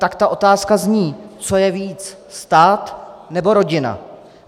Tak ta otázka zní: Co je víc - stát, nebo rodina?